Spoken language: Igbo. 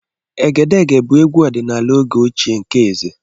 Egedege bụ egwu ọdịnala oge ochie nke eze.